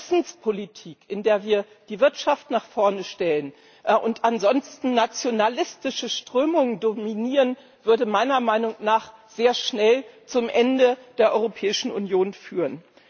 Eine Interessenspolitik, in der wir die Wirtschaft nach vorne stellen und ansonsten nationalistische Strömungen dominieren, würde meiner Meinung nach sehr schnell zum Ende der Europäischen Union führen.